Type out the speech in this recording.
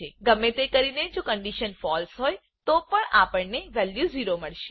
ગમે તેમ કરીને જો કન્ડીશન ફળસે ફોલ્સ હોય તો પણ આપણને વેલ્યુ 0 મળશે